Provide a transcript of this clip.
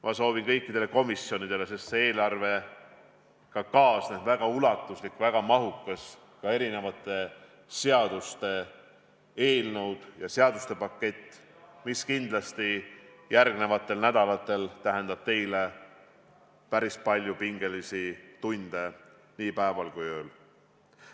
Ma soovin seda ka kõikidele komisjonidele, sest selle eelarvega kaasneb väga mahukas seadusemuudatuste pakett, mis järgmistel nädalatel tähendab teile kindlasti päris palju pingelisi töötunde nii päeval kui ka ööl.